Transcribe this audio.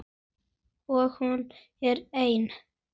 Og hún er ein.